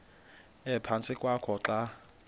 ephantsi kwakho xa